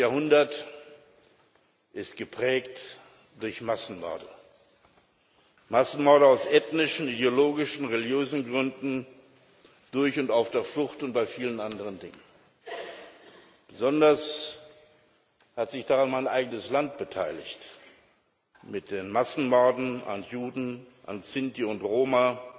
20. Jahrhundert ist geprägt durch Massenmorde Massenmorde aus ethnischen, ideologischen, religiösen Gründen, durch und auf der Flucht und bei vielen anderen Dingen. Besonders hat sich daran mein eigenes Land mit den Massenmorden an Juden, an Sinti und Roma